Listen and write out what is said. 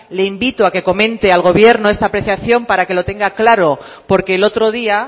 le invito a que comente al gobierno esta apreciación para que lo tenga claro porque el otro día